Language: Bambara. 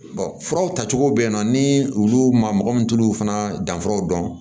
furaw tacogo bɛ yen nɔ ni olu ma mɔgɔ min t'olu fana danfaraw dɔn